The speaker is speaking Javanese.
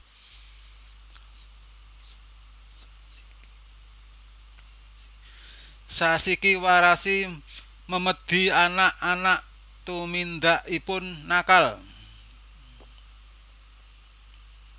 Zashiki warashi Memedi anak anak tumindakipun nakal